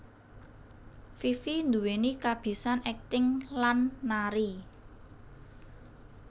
Fifi nduweni kabisan akting lan nari